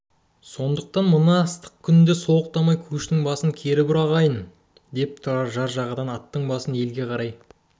сондықтан енді мына ыстық күнде солықтамай көштің басын кері бұр ағайын деп тұрар жар жағадан аттың басын елге